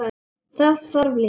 Þess þarf líka.